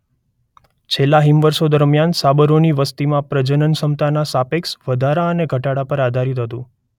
છેલ્લા હિમવર્ષો દરમિયાન સાબરોની વસતિમાં પ્રજનન ક્ષમતાના સાપેક્ષ વધારા અને ઘટાડા પર આધારિત હતું.